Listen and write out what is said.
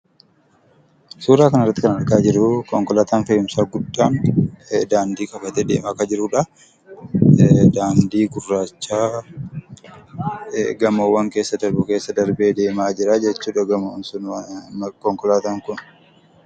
Suuraa kanarratti kan argaa jirru, suuraa konkolaataan fe'umsaa guddaan daandiin qabtee deemaa kan jirudha. Daandii gurraachaa gamoowwan keesaa darbu keessa darbee deemaa jira jechuudha gamoonsun konkolaataan kun.